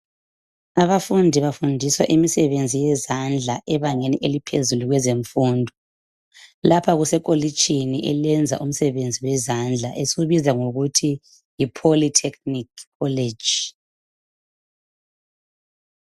Abafundi bafundiswa imsebenzi yezandla ebangeni eliphezulu kwezemfundo, lapha kusekolitshini elenza umsebenzi wezandla esiwubiza ngokuthi yi 'Polytechnic college'.